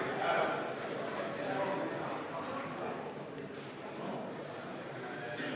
V a h e a e g